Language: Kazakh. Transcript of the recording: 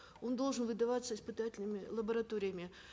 он должен выдаваться испытательными лабораториями